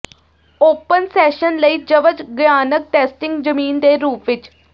open session ਲਈ ਜਵਜਗਆਨਕ testing ਜ਼ਮੀਨ ਦੇ ਰੂਪ ਵਿੱਚ